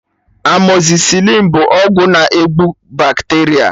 Amọzịsịlịn bụ ọgwụ na-egbu bakteria